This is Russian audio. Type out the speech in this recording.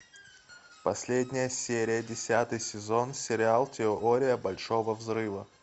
последняя серия десятый сезон сериал теория большого взрыва